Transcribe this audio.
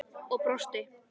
Og brosti!